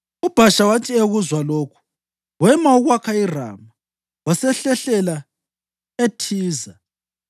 UBhasha wathi ekuzwa lokhu, wema ukwakha iRama wasehlehlela eThiza.